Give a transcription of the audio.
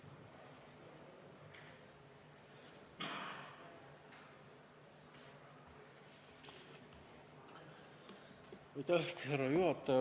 Härra juhataja!